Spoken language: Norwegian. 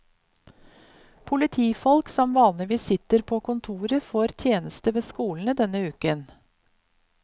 Politifolk som vanligvis sitter på kontoret, får tjeneste ved skolene denne uken.